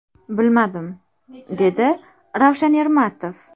Bilmadim”, dedi Ravshan Ermatov.